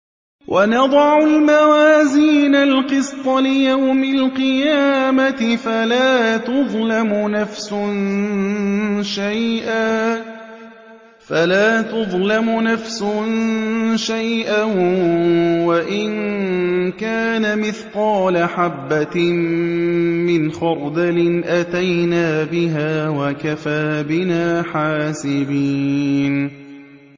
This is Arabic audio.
وَنَضَعُ الْمَوَازِينَ الْقِسْطَ لِيَوْمِ الْقِيَامَةِ فَلَا تُظْلَمُ نَفْسٌ شَيْئًا ۖ وَإِن كَانَ مِثْقَالَ حَبَّةٍ مِّنْ خَرْدَلٍ أَتَيْنَا بِهَا ۗ وَكَفَىٰ بِنَا حَاسِبِينَ